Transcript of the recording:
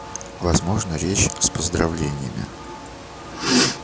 возможно речь с поздравлениями